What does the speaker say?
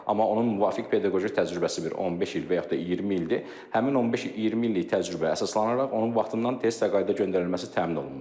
Amma onun müvafiq pedaqoji təcrübəsi bir 15 il və yaxud da 20 ildir, həmin 15-20 illik təcrübə əsaslanaraq onun vaxtından tez təqaüdə göndərilməsi təmin olunmalıdır.